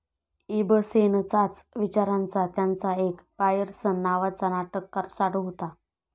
इबसेनचाच विचारांचा त्यांचा एक बायरसन नावाचा नाटककार साडू होता.